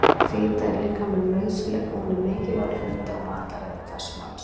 Fita er líkamanum nauðsynleg og hún er mikilvægur hluti af mataræði hvers manns.